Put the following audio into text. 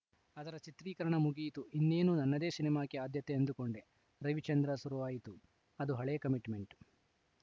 ಅದರ ಚಿತ್ರೀಕರಣ ಮುಗಿಯಿತು ಇನ್ನೇನು ನನ್ನದೇ ಸಿನಿಮಾಕ್ಕೆ ಆದ್ಯತೆ ಅಂದುಕೊಂಡೆ ರವಿಚಂದ್ರ ಶುರುವಾಯಿತು ಅದು ಹಳೇ ಕಮಿಟ್‌ಮೆಂಟ್‌